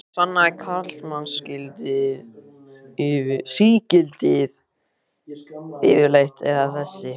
Hvað sannaði karlmannsígildið yfirleitt, eða þessi